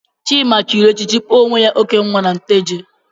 Chima chịrị echichi kpọọ onwe ya Okenwa na Nteje.